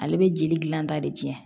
Ale bɛ jeli dilan ta de tiɲɛ